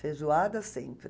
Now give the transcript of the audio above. Feijoada sempre.